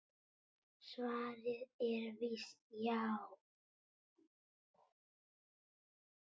Svarið er víst já.